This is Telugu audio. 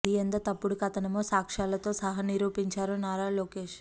అది ఎంత తప్పుడు కథనమో సాక్ష్యాలతో సహా నిరూపించారు నారా లోకేష్